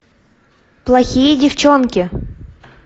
плохие девчонки